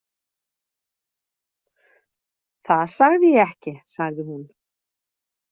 Það sagði ég ekki, sagði hún.